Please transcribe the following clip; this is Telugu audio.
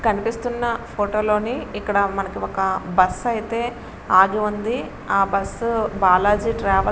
కనిపిస్తున్న ఫోటో లోని ఇక్కడ మనకి ఒక బస్సు అయితే అగి ఉంది. ఆ బస్సు బాలాజీ --